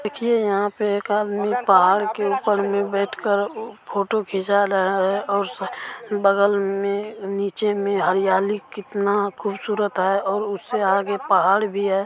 देखिए यहाँ पे एक आदमी उ पहाड़ के ऊपर में बैठ कर फोटो खिंचा रहा है और बगल में नीचे में हरियाली कितना खूबसूरत है और उससे आगे पहाड़ भी है।